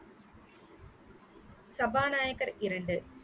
சபாநாயகர் இரண்டு